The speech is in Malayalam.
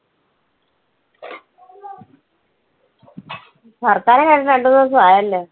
വർത്താനം കേട്ടിട്ട് രണ്ടുമൂന്ന് ദിവസം ആയല്ലോ.